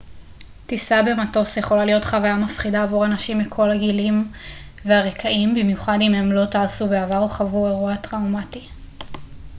טיסה במטוס יכולה להיות חוויה מפחידה עבור אנשים מכל הגילים והרקעים במיוחד אם הם לא טסו בעבר או חוו אירוע טראומטי